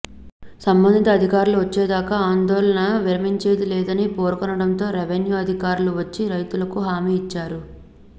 సంబంధిత అధికారులు వచ్చేదాకా ఆందోళన విరమించేది లేదని పేర్కొనడంతో రెవెన్యూ అధికారులు వచ్చి రైతులకు హామీ ఇచ్చారు